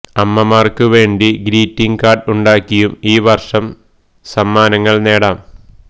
അമ്മമാർക്ക് വേണ്ടി greeting card ഉണ്ടാക്കിയും ഈ വർഷം സമ്മാനങ്ങൾ നേടാം